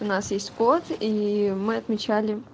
у нас есть кот и мы отмечали